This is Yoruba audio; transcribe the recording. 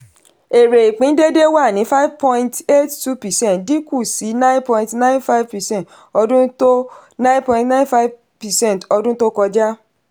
èrè ìpín déédé wá sí five point eight two percent dín kù sí nine point nine five percent ọdún to nine point nine five percent ọdún to kọjá